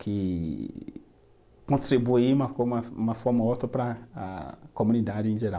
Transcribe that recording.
que contribuí de uma forma ou outro para a comunidade em geral.